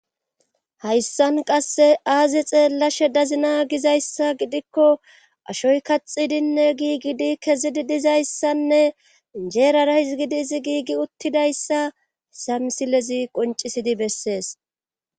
Hayssan qasse aazi xeellashe dazina gizayssa gidikko ashoy kaxidinne giigidi kezidi dizayssanne jeerara hizgidi izi giigi uttidayssa samsilezi qoncisidi bessees.